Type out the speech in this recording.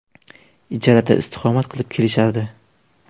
Ijarada istiqomat qilib kelishardi.